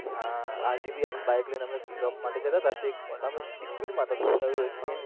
હા આજે ભી આપણે બાઈક લઈને અમે ચોક માટે જતા હતા તો અમે spid મા હતા.